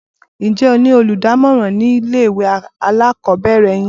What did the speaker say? Ǹjẹ́ ẹ ní olùdámọ̀ràn nílé ìwé alákọ̀ọ́bẹ̀rẹ̀ yin?